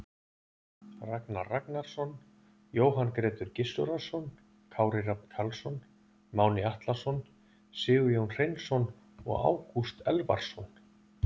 Ragnar Ragnarsson, Jóhann Grétar Gizurarson, Kári Rafn Karlsson, Máni Atlason, Sigurjón Hreinsson og Ágúst Elvarsson.